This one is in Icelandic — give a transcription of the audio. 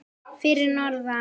Fyrir norðan?